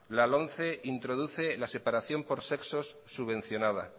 la lomce introduce la separación por sexos subvencionada